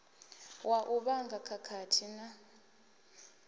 wa u vhanga khakhathi na